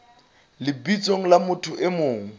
lebitsong la motho e mong